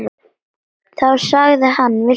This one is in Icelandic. Þá sagði hann: Viltu nudd?